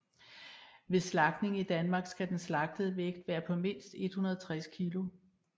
Ved slagtning i Danmark skal den slagtede vægt være på mindst 160 kg